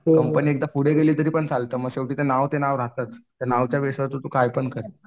Company एकदा पुढे गेली तरीपण चालतं मग ते नावावर ते नाव राहतंच. त्या नावाच्या विश्वासावर तू कायपण कर